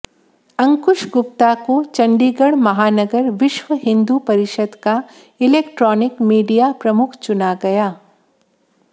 अंकुश गुप्ता को चंडीगढ़ महानगर विश्व हिंदू परिषद का इलेक्ट्रॉनिक मीडिया प्रमुख चुना गया